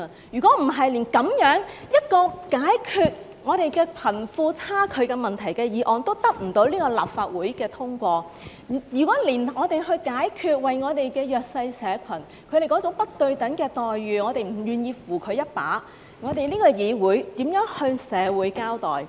如果連這樣一項解決貧富差距問題的議案都得不到立法會通過，如果我們連弱勢社群面對那種不對等的待遇，我們也不願意扶他們一把，這個議會如何向社會交代？